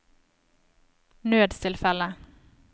nødstilfelle